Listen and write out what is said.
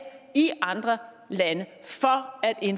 i andre lande